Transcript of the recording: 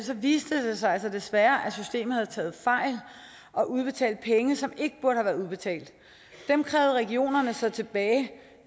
viste det sig altså desværre at systemet havde taget fejl og udbetalt penge som ikke burde have været udbetalt dem krævede regionerne så tilbage